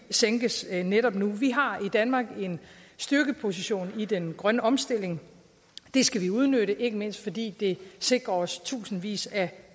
sænkes netop nu vi har i danmark en styrkeposition i den grønne omstilling det skal vi udnytte ikke mindst fordi det sikrer os tusindvis af